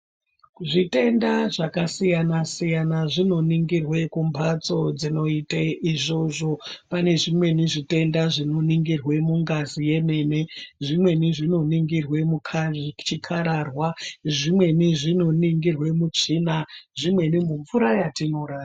Zvitenda zvakasiyana siyana zvinoningirwe kumbatso dzinoite izvozvo pane zvimweni zvitenda zvinoningirwe mungazi yemene zvimweni zvinoningirwe muchikararwa zvimweni zvinoningirwe mutsvina zvimweni mumvura yatinono ra.